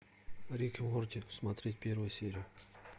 рик и морти смотреть первую серию